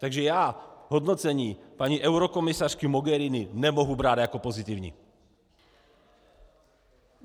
Takže já hodnocení paní eurokomisařky Mogherini nemohu brát jako pozitivní.